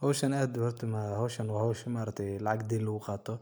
Hoshashan maaragtaye wa hosha denta lagu qato